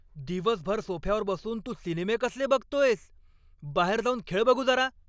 दिवसभर सोफ्यावर बसून तू सिनेमे कसले बघतोयस? बाहेर जाऊन खेळ बघू जरा!